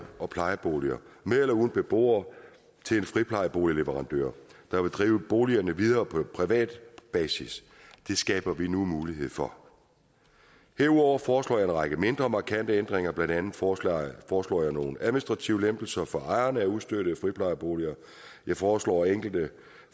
og plejeboliger med eller uden beboere til en friplejeboligleverandør der vil drive boligerne videre på privat basis det skaber vi nu mulighed for derudover foreslår jeg en række mindre markante ændringer blandt andet foreslår foreslår jeg nogle administrative lempelser for ejerne af ustøttede friplejeboliger jeg foreslår enkelte